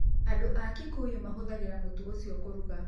Andũ a Kikuyu mahũthagĩra mũtu ũcio kũruga.